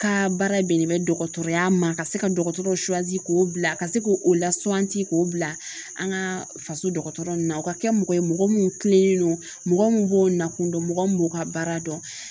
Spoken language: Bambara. Ka baara bɛnnen bɛ dɔgɔtɔrɔya ma ka se ka dɔgɔtɔrɔw k'o bila ka se k'o lasan k'o bila an ka faso dɔgɔtɔrɔ ninnu na o ka kɛ mɔgɔ ye mɔgɔ min kilenen don mɔgɔ mun b'o nakun dɔn mɔgɔ min b'o ka baara dɔn